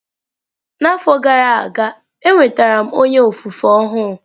N'afọ gara aga, enwetara m onye ofufe ọhụụ.